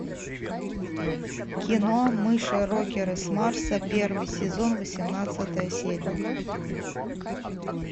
кино мыши рокеры с марса первый сезон восемнадцатая серия